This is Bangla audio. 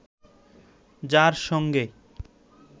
যার সঙ্গে